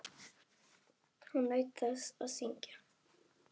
Hún naut þess að syngja.